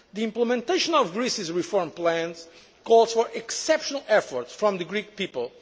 that country. The implementation of Greece's reform plans calls for exceptional efforts from the